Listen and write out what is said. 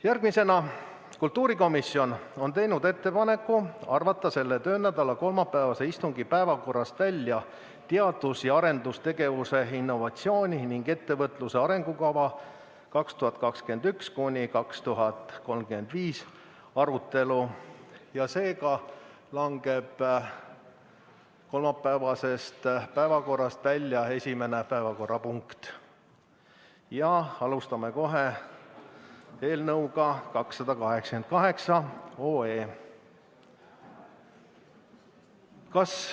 Järgmiseks, kultuurikomisjon on teinud ettepaneku arvata selle töönädala kolmapäevase istungi päevakorrast välja "Eesti teadus- ja arendustegevuse, innovatsiooni ning ettevõtluse arengukava 2021–2035" arutelu, seega langeb kolmapäevasest päevakorrast välja esimene päevakorrapunkt ja me alustame kohe eelnõu 288 menetlemist.